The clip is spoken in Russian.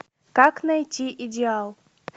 как найти идеал